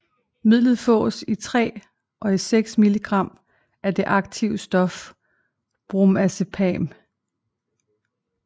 Midlet fås i 3 og 6 mg af det aktive stof Bromazepam